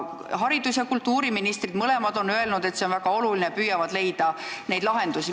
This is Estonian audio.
Haridus- ja kultuuriminister mõlemad on öelnud, et see on väga oluline, püüavad lahendusi leida.